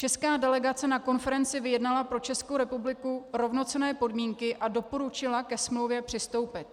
Česká delegace na konferenci vyjednala pro Českou republiku rovnocenné podmínky a doporučila ke smlouvě přistoupit.